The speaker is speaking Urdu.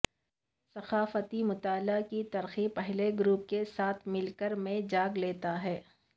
ثقافتی مطالعہ کی ترقی پہلے گروپ کے ساتھ مل کر میں جگہ لیتا ہے